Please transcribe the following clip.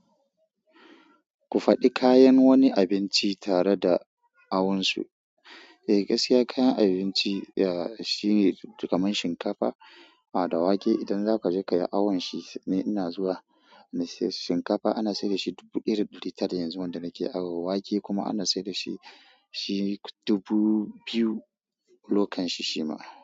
Ku faɗi kayan wani abinci tare da awonsu. Eh, gaskiya kayan abinci shine kamar shinkafa da wake. Idan zaka je ka yi awon shi, ni ina zuwa na sai shinkafa ana sayar da shi dubu ɗaya da darintara yanzu wanda nake awon. Wake kuma ana sayar da shi dubu biyu lokan shi shima.